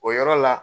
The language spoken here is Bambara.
O yɔrɔ la